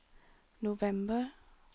november